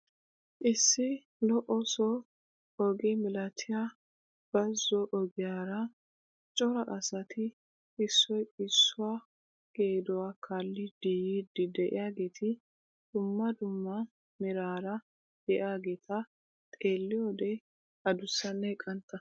Issi loosso oge milatiyaa bazo ogiyaara cora asati issoy issuwaa geduwaa kaallidi yiidi de'iyaageti dumma dumma merara de'iyaageta xeelliyoode adusanne qantta.